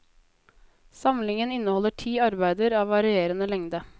Samlingen inneholder ti arbeider av varierende lengde.